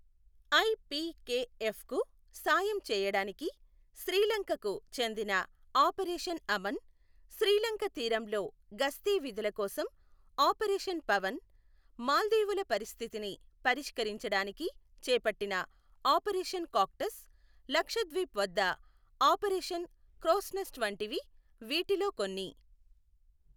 ఐపీకేఎఫ్కు సాయం చేయడానికి శ్రీలంకకు చెందిన ఆపరేషన్ అమన్, శ్రీలంక తీరంలో గస్తీ విధుల కోసం ఆపరేషన్ పవన్, మాల్దీవుల పరిస్థితిని పరిష్కరించడానికి చేపట్టిన ఆపరేషన్ కాక్టస్, లక్షద్వీప్ వద్ద ఆపరేషన్ క్రోస్నెస్ట్ వంటివి వీటిలో కొన్ని.